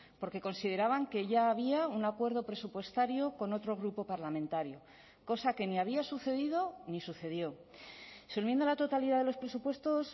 porque consideraban que ya había un acuerdo presupuestario con otro grupo parlamentario cosa que ni había sucedido ni sucedió su enmienda a la totalidad de los presupuestos